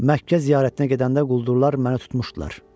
Məkkə ziyarətinə gedəndə quldurlar məni tutmuşdular.